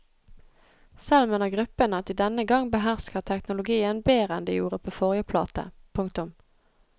Selv mener gruppen at de denne gang behersker teknologien bedre enn de gjorde på forrige plate. punktum